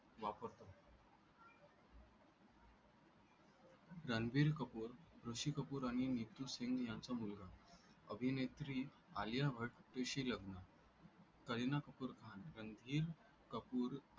रणबीर कपूर ऋषि कपूर आणि नीतू सिंग यांच्या मुलगा अभिनेत्री आलिया भट्टशी लग्न करीना कपूर खान रणधीर कपूर